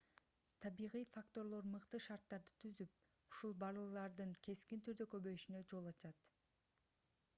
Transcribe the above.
табигый факторлор мыкты шарттарды түзүп ушул балырлардын кескин түрдө көбөйүшүнө жол ачат